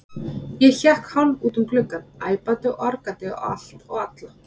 Ég hékk hálf út um gluggann, æpandi og argandi á allt og alla.